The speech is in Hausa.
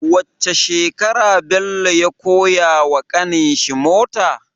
Wacce shekarar Bello ya koya wa ƙanin shi mota